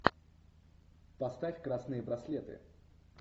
поставь красные браслеты